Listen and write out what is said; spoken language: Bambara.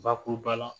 Bakuruba la